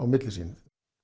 milli sín